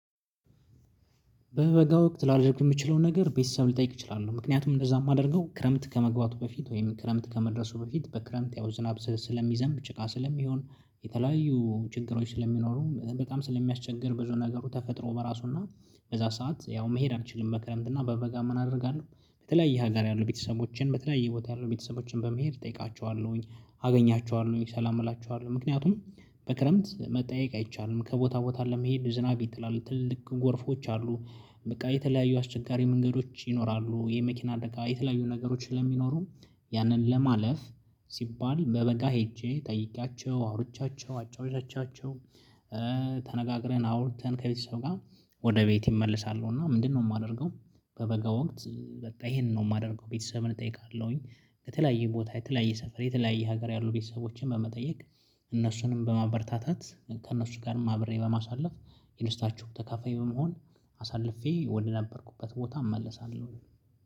በበጋ ወቅት ላደርግ የምችለው ነገር ቤተሰብ ልጠይቅ እችላለሁ ምክንያቱም እንደዛ የማደርገው ክረምት ከመግባቱ በፊት ወይም ክረምት ከመድረሱ በፊት በክረምት ያው ዝናብ፣ ስለሚዘንብ ጭቃ ስለሚሆን የተለያዩ ችግሮች ስለሚኖሩ በጣም ስለሚያስቸግር ብዙ ነገሩ ተፈጥሮ በራሱና በዛ ሰዓት ያው መሄድ አንችልም በክረምት እና በበጋ ምን አደርጋለሁ በተለያየ ሀገር ያሉ ቤተሰቦቼን በተለያየ ቦታ ያሉ ቤተሰቦቼን በመሄድ እጠይቃቸዋለሁኝ። አገኛቸዋለሁኝ፣ ሰላም እላቸዋለሁኝ ምክንያቱም በክረምት መጠየቅ አይቻልም ከቦታ ቦታ ለመሄድ ዝናብ ይጥላል ትልልቅ ጎርፎች አሉ። በቃ የተለያዩ አስቸጋሪ መንገዶች ይኖራሉ፣ የመኪና አደጋ የተለያዩ ነገሮችን ስለሚኖሩ ያንን ለማለፍ ሲባል በበጋ ሄጄ ጠይቂያቸው፣ አውርቻቸው፣ አጫዉቻቸው ተነጋግረን፣ አውርተን ከቤተሰብ ጋር ወደ ቤት እመልሳለሁ እና ምንድነው የማደርገው በበጋ ወቅት በቃ ይሄንን ነው የማደርገው ቤተሰብን እጠይቃለሁኝ። ከተለያየ ቦታ የተለያየ ሰፈር የተለያየ ሀገር ያሉ ቤተሰቦችን በመጠየቅ እነሱንም በማበርታታት፣ ከእነሱም ጋር ማብሬ በማሳለፍ የደስታቸውም ተካፋይ በመሆን አሳልፌ ወደነበርኩበት ቦታ እመለሳለሁ።